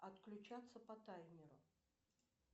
отключаться по таймеру